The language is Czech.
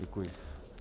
Děkuji.